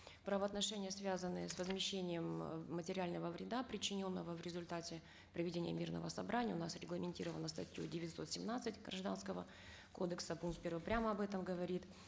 правоотношения связанные с возмещением э материального вреда причиненного в результате проведения мирного собрания у нас регламентированы статьей девятьсот семнадцать гражданского кодекса пункт первый прямо об этом говорит